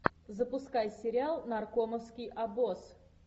запускай сериал наркомовский обоз